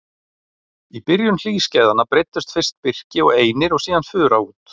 Í byrjun hlýskeiðanna breiddust fyrst birki og einir og síðan fura út.